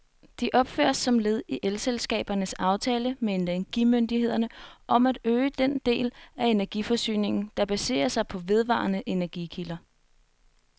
De opføres som led i elselskabernes aftale med energimyndighederne om at øge den del af energiforsyningen, der baserer sig på vedvarende energikilder.